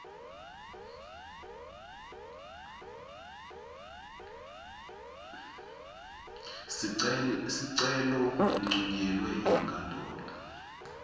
sicelo uncunyelwe yinkantolo